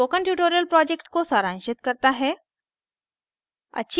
यह spoken tutorial project को सारांशित करता है